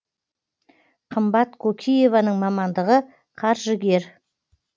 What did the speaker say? қымбат кокиеваның мамандығы қаржыгер